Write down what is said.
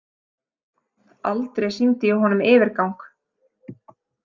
Aldrei sýndi ég honum yfirgang.